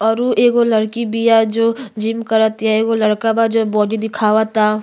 और उ एगो लड़की बिया जो जिम कर तिया एगो लड़का बा जो बॉडी दिखावता।